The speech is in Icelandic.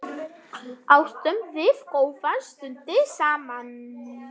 Áttum við góðar stundir saman.